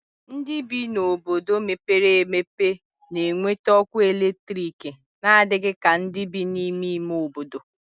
Ndị bi n'obodo mepere emepe na-enweta ọkụ eletriki n'adịghị ka ndị bi n'ime ime obodo.